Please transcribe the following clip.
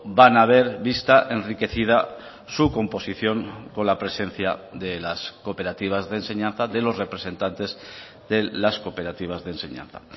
van a ver vista enriquecida su composición con la presencia de las cooperativas de enseñanza de los representantes de las cooperativas de enseñanza